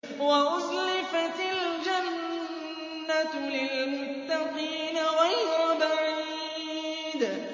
وَأُزْلِفَتِ الْجَنَّةُ لِلْمُتَّقِينَ غَيْرَ بَعِيدٍ